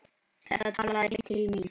Þetta talaði beint til mín.